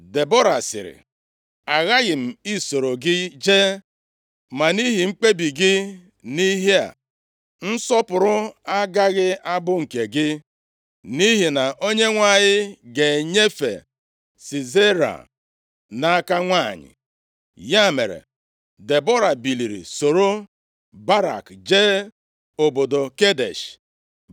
Debọra sịrị, “Aghaghị m isoro gị jee ma nʼihi mkpebi gị nʼihe a, nsọpụrụ agaghị abụ nke gị, nʼihi na Onyenwe anyị ga-enyefe Sisera nʼaka nwanyị.” Ya mere, Debọra biliri soro Barak jee obodo Kedesh.